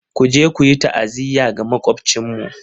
Ku je ku yi ta'aziyya ga Makwabcinmu!